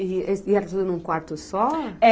E era tudo num quarto só?